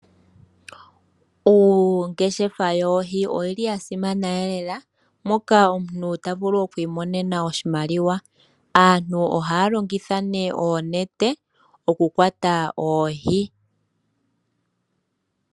Ongeshefa yoohi oyili ya simana lela moka omuntu tavulu oku imonena oshimaliwa. Aantu ohaya longitha oonete okukwata oohi